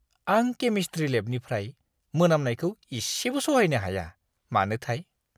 आं केमिस्ट्रि लेबनिफ्राय मोनामनायखौ इसेबो सहायनो हाया! मानोथाय!